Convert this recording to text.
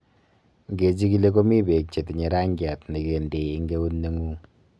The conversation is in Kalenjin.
Nge chigili komii bek chetinye rangiat nengendei eng eut nengung